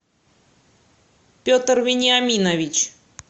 петр вениаминович